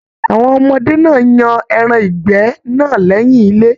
Awọn ọmọdé náà yan ẹran ìgbẹ́ náà lẹyìn ilé.